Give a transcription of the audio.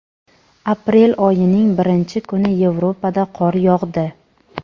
Aprel oyining birinchi kuni Yevropada qor yog‘di.